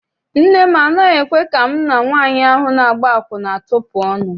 Nne m anaghị ekwe ka mụ na nwaanyị ahụ na-agba akwụna tupu ọnụ.